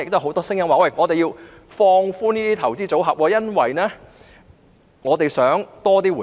很多市民認為應放寬這些投資組合，因為他們想得到更多回報。